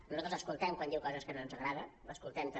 nosaltres l’escoltem quan diu coses que no ens agrada l’escoltem també